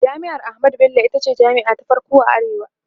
jami'ar ahmadu Bello itace jami'a ta farko a arewa